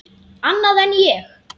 Annað en ég.